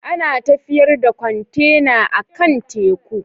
Ana tafiyar da kwantena akan teku.